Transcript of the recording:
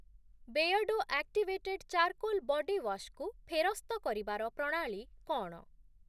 Beardo activated charcoal bodywash କୁ ଫେରସ୍ତ କରିବାର ପ୍ରଣାଳୀ କ’ଣ?